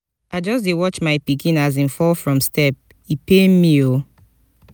i just dey watch my pikin as im fall from step e pain pain me o.